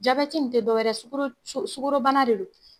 Jabɛti nin te dɔ wɛrɛ sugoro sugoro bana de don.